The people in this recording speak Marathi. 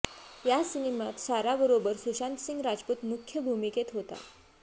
या सिनेमात साराबरोबर सुशांत सिंग राजपूत मुख्य भूमिकेत होता